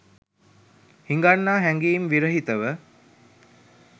හිඟන්නා හැඟීම් විරහිතව